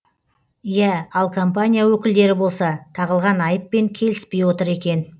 иә ал компания өкілдері болса тағылған айыппен келіспей отыр екен